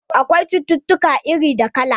Akwai cucutuka iri da kala.